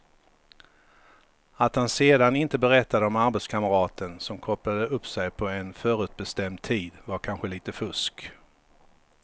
Att han sedan inte berättade om arbetskamraten som kopplade upp sig på en förutbestämd tid var kanske lite fusk.